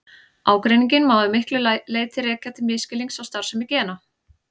Ágreininginn má að miklu leyti rekja til misskilnings á starfsemi gena.